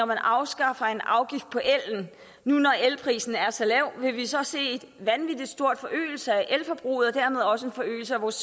man afskaffer en afgift på el nu når elprisen er så lav vil vi så se en vanvittig stor forøgelse af elforbruget og dermed også en forøgelse af vores